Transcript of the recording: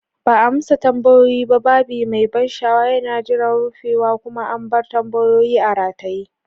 Ba a amsa tambayoyin ba, babi mai ban sha'awa yana jiran rufewa, kuma an bar tambayoyi a rataye.